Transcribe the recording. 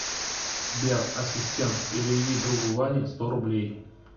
сбер ассистент переведи другу ване сто рублей